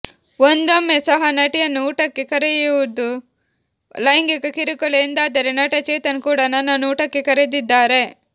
ಒಂದೊಮ್ಮೆ ಸಹ ನಟಿಯನ್ನು ಊಟಕ್ಕೆ ಕರೆಯುವುದು ಲೈಂಗಿಕ ಕಿರುಕುಳ ಎಂದಾದರೆ ನಟ ಚೇತನ್ ಕೂಡ ನನ್ನನ್ನು ಊಟಕ್ಕೆ ಕರೆದಿದ್ದಾರೆ